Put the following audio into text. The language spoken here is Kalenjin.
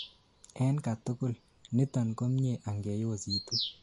en katugul:niton komie angeyositu